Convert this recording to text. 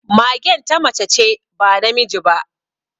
Magen ta mace ce, ba namiji ba